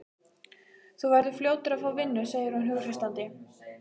Þú verður fljótur að fá vinnu, segir hún hughreystandi.